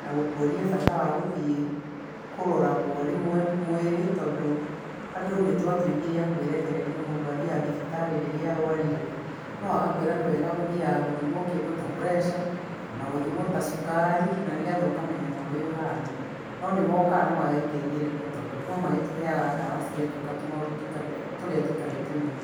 na gũkuonia bata wa gũthiĩ kũroragwo rĩmwe mwĩrĩ, tondũ andũ nĩtwatwĩkire akwĩrekereria mũndũ athiaga thibitarĩ rĩrĩa arwarire no agakwĩra nĩwega gũthiaga gũthima kĩndũ ta pressure kana cukari na nĩgetha ũkamenyaga ũrĩa ũhana, no nĩmokaga na magatethĩriria tondũ no magĩtũheaga dawa cia njoka, tũmaũndũ tũrĩa tũtarĩ tũnene.